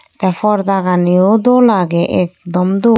Te parda gani yo dol age ekdom dol.